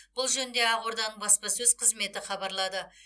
бұл жөнінде ақорданың баспасөз қызметі хабарлады